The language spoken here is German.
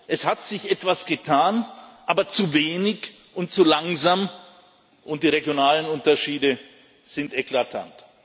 Es hat sich etwas getan, aber zu wenig und zu langsam, und die regionalen Unterschiede sind eklatant.